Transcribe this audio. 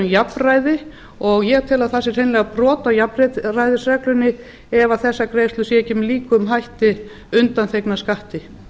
jafnræði og ég tel að að það sé hreinlega brot á jafnræðisreglunni ef þessar greiðslur eru ekki með líkum hætti undanþegnar skatti